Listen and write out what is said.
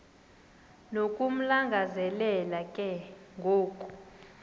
nokumlangazelela ke ngoku